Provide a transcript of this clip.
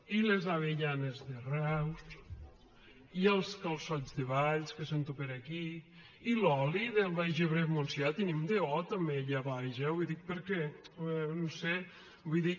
i les avellanes de reus i els calçots de valls que sento per aquí i l’oli del baix ebre i el montsià tenim do també allà baix eh ho dic perquè no sé vull dir